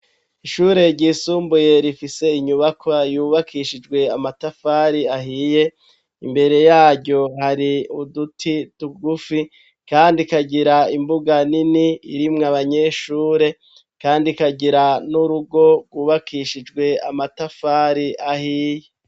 shure ryisumbuye rifise inyubakwa yubakishijwe amatafari ahiye imbere yaryo hari uduti tugufi kandi kagira imbuga nini irimwo abanyeshure kandi kagira n'urugo rwubakishijwe amatafari ahiye